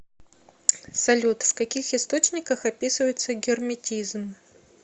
салют в каких источниках описывается герметизм